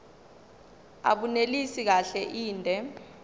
abunelisi kahle inde